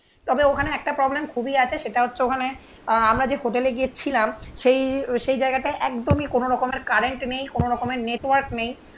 তবে ওখানে একটা প্রবলেম খুবই আছে সেটা হচ্ছে ওখানে আহ আমরা যে হোটেলে গিয়েছিলাম সেই সেই জায়গাটা একদমই কোনো রকমের কারেন্ট নেই. কোনোরকমের নেটওয়ার্ক নেই.